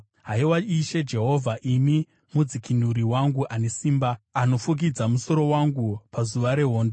Haiwa Ishe Jehovha, imi mudzikinuri wangu ane simba, anofukidza musoro wangu pazuva rehondo,